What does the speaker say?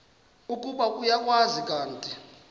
ukuba uyakwazi kanti